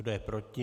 Kdo je proti?